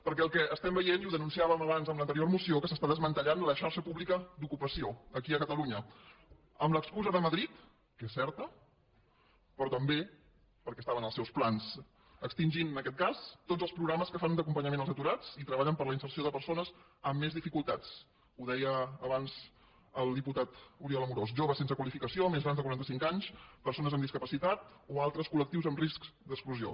perquè el que estem veient i ho denunciàvem abans amb l’anterior moció és que s’està desmantellant la xarxa pública d’ocupació aquí a catalunya amb l’excusa de madrid que és certa però també perquè estava en els seus plans extingint en aquest cas tots els programes que fan d’acompanyament als aturats i treballen per a la inserció de persones amb més dificultats ho deia abans el diputat oriol amorós joves sense qualificació més grans de quaranta cinc anys persones amb discapacitat o altres col·lectius amb risc d’exclusió